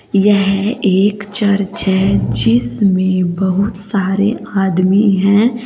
यह एक चर्च है जिसमें बहुत सारे आदमी हैं।